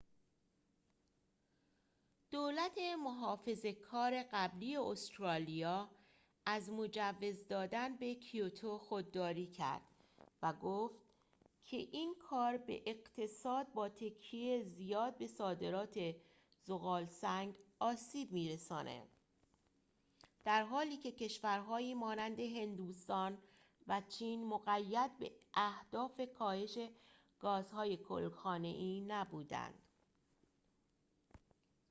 دولت محافظه کار قبلی استرالیا از مجوز دادن به کیوتو خودداری کرد و گفت که این کار به اقتصاد با تکیه زیاد به صادرات ذغال‌سنگ آسیب می‌رساند در حالیکه کشورهایی مانند هندوستان و چین مقید به اهداف کاهش گازهای گل‌خانه‌ای نبودند